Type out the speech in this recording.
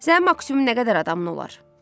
Sənin maksimum nə qədər adamın olar?